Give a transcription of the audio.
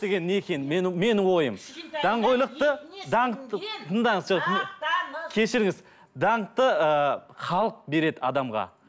екенін мен менің ойым даңғойлықты даңқты тыңдаңыз жоқ мақтаныш кешіріңіз даңқты ыыы халық береді адамға